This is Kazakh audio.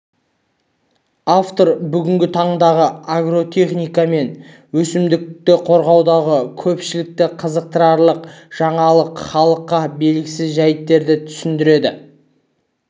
автор бүгінгі таңдағы агротехника мен өсімдікті қорғаудағы көпшілікті қызықтырарлық жаңалық халыққа белгісіз жәйттерді түсіндіреді